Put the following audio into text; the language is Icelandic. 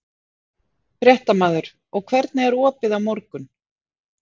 Fréttamaður: Og hvernig er opið á morgun?